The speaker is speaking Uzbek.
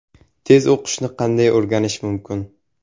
Tez o‘qishni qanday o‘rganish mumkin?